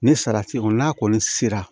Ni salati kolon n'a kɔni sera